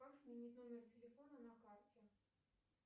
как сменить номер телефона на карте